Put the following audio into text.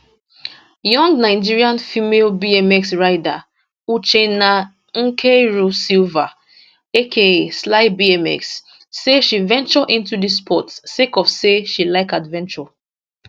young nigerian female bmx rider uchenna nkeiru sylvia aka slybmx say she venture into dis sport sake of say she like adventure